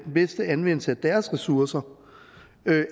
bedste anvendelse af deres ressourcer